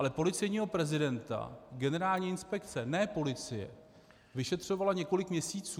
Ale policejního prezidenta generální inspekce, ne policie, vyšetřovala několik měsíců.